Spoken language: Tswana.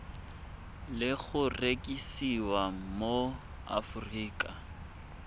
le go rekisiwa mo aforika